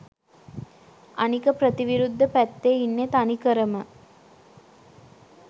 අනික ප්‍රතිවිරුද්ධ පැත්තෙ ඉන්නෙ තනිකරම